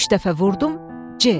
Üç dəfə vurdum C.